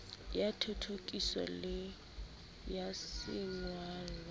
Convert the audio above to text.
ya thothokiso le ya sengolwa